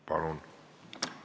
Palun!